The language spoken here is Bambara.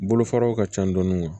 Bolofaraw ka ca dɔɔni